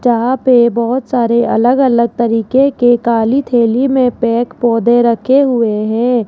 जहां पे बहोत सारे अलग अलग तरीके के काली थैली में पैक पौधे रखे हुए हैं।